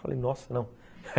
Falei, nossa, não.